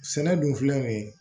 Sɛnɛ dun filɛ nin ye